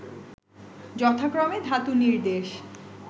যথাক্রমে ধাতুনির্দেশ